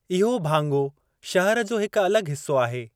इहो भाङो शहर जो हिकु अलॻि हिस्सो आहे।